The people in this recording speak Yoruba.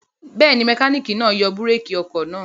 Bẹ́ẹ̀ ni, mẹkáníkì náa yọ búrékì ọkọ̀ náà.